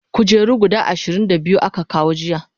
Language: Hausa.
kujeru guda Ɗari da ashirin da biyu aka kawo jiya